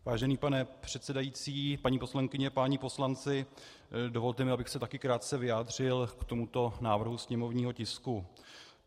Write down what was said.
Vážený pane předsedající, paní poslankyně, páni poslanci, dovolte mi, abych se taky krátce vyjádřil k tomuto návrhu sněmovního tisku.